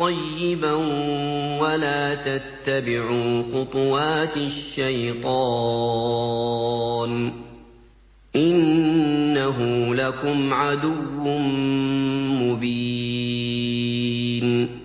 طَيِّبًا وَلَا تَتَّبِعُوا خُطُوَاتِ الشَّيْطَانِ ۚ إِنَّهُ لَكُمْ عَدُوٌّ مُّبِينٌ